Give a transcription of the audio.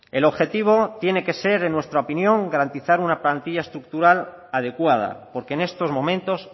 el objetivo tiene que ser en nuestra opinión garantizar una plantilla estructural adecuada porque en estos momentos